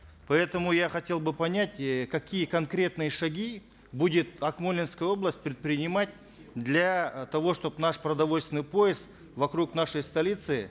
поэтому я хотел бы понять э какие конкретные шаги будет акмолинская область предпринимать для э того чтобы наш продовольственный пояс вокруг нашей столицы